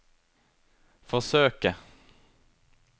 forsøke